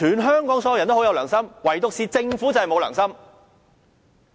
香港所有人都很有良心，唯獨政府沒有良心。